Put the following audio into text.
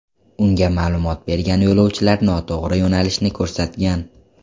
Unga ma’lumot bergan yo‘lovchilar noto‘g‘ri yo‘nalishni ko‘rsatgan.